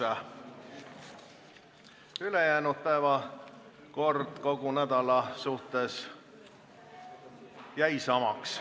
Kogu ülejäänud nädala päevakord jäi samaks.